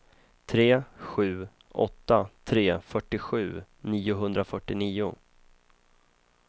tre sju åtta tre fyrtiosju niohundrafyrtionio